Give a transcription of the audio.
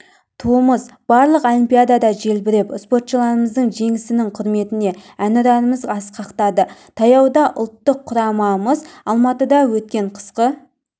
туымыз барлық олимпиадада желбіреп спортшыларымыздың жеңісінің құрметіне әнұранымыз асқақтады таяуда ұлттық құрамамыз алматыда өткен қысқы